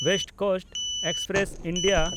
West Coast Express (India)